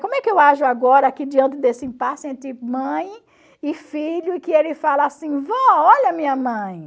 Como é que eu ajo agora aqui diante desse impasse entre mãe e filho, e que ele fala assim, vó, olha a minha mãe.